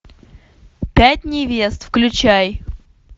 пять невест включай